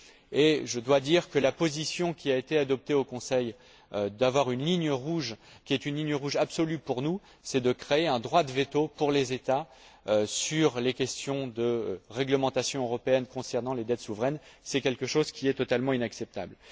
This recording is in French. Et je dois dire que la position qui a été adoptée au Conseil avoir une ligne rouge qui soit une ligne rouge absolue pour nous, créer un droit de veto pour les États sur les questions de réglementation européenne concernant les dettes souveraines est totalement inacceptable.